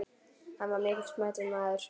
Hann var mikils metinn maður.